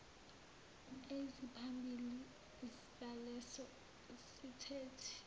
eziphambili zaleso siteshi